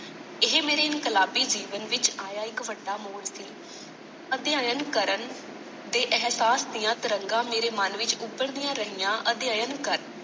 ਏਹੇ ਮੇਰੇ ਇਨਕਲਾਬੀ ਜੀਵਨ ਵਿਚ ਆਇਆ ਇੱਕ ਵੱਡਾ ਮੋੜ ਸੀ। ਅਧਿਐਨ ਕਰਨ ਦੇ ਅਹਿਸਾਸ ਦੀਆਂ ਤਰੰਗਾਂ ਮੇਰੇ ਮਨ ਵਿੱਚ ਉਭਰਦੀਆਂ ਰਹੀਆਂ। ਅਧਿਐਨ ਕਰ।